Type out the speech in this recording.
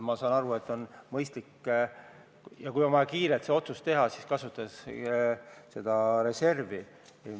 Ma saan aru, et sellisel juhul, kui on vaja kiirelt see otsus teha, on mõistlik kasutada reservi.